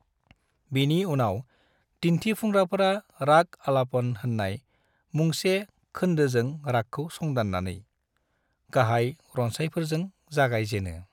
बिनि उनाव दिन्थिफुंग्राफोरा राग अलापन होननाय मुंसे खोनदोजों रागखौ संदाननानै, गाहाय रनसायफोरजों जागाय जेनो।